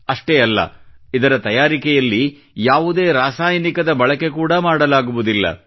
ಅಷ್ಟೇ ಅಲ್ಲ ಇದರ ತಯಾರಿಕೆಯಲ್ಲಿ ಯಾವುದೇ ರಾಸಾಯನಿಕದ ಬಳಕೆ ಕೂಡಾ ಮಾಡಲಾಗುವುದಿಲ್ಲ